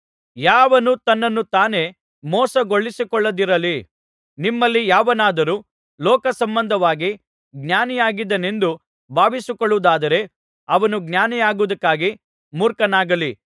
ಯಾವನೂ ತನ್ನನ್ನು ತಾನೇ ಮೋಸಗೊಳಿಸಿಕೊಳ್ಳದಿರಲಿ ನಿಮ್ಮಲ್ಲಿ ಯಾವನಾದರೂ ಲೋಕಸಂಬಂಧವಾಗಿ ಜ್ಞಾನಿಯಾಗಿದ್ದೇನೆಂದು ಭಾವಿಸಿಕೊಳ್ಳುವುದಾದರೆ ಅವನು ಜ್ಞಾನಿಯಾಗುವುದಕ್ಕಾಗಿ ಮೂರ್ಖನಾಗಲಿ